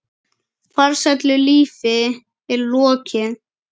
Farsælu lífi er lokið.